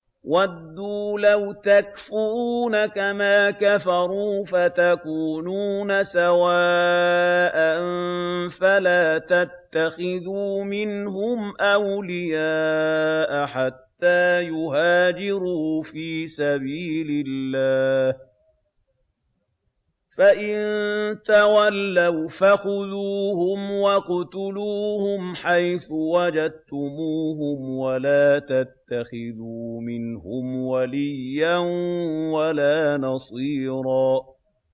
وَدُّوا لَوْ تَكْفُرُونَ كَمَا كَفَرُوا فَتَكُونُونَ سَوَاءً ۖ فَلَا تَتَّخِذُوا مِنْهُمْ أَوْلِيَاءَ حَتَّىٰ يُهَاجِرُوا فِي سَبِيلِ اللَّهِ ۚ فَإِن تَوَلَّوْا فَخُذُوهُمْ وَاقْتُلُوهُمْ حَيْثُ وَجَدتُّمُوهُمْ ۖ وَلَا تَتَّخِذُوا مِنْهُمْ وَلِيًّا وَلَا نَصِيرًا